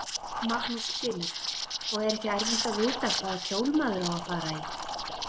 Magnús Hlynur: Og er ekki erfitt að vita hvaða kjól maður á að fara í?